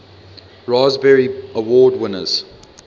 raspberry award winners